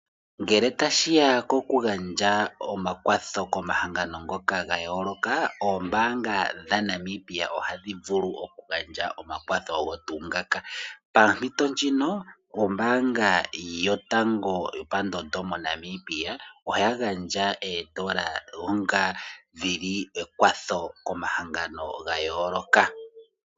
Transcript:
Ngele tashiya koku gandja omakwatho komahangano ngoka ga yooloka, oombaanga dhaNamibia ohadhi vulu oku gandja omakwatho ogo tuu ngaka. Pa mpito ndjino ombaanga yotango yo pandondo moNamibia oya gandja oondola onga dhili omakwatho komahangano ga yooloka.